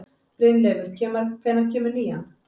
Brynleifur, hvenær kemur nían?